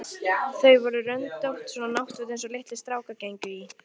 Þau voru röndótt, svona náttföt einsog litlir strákar gengu í.